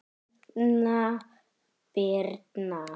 Erna Birna.